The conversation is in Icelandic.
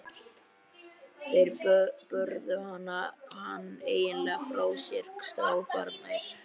Þeir börðu hann eiginlega frá sér, strákarnir.